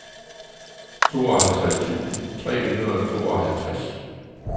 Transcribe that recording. tooghalvtreds tusind tre hundrede og tooghalvtreds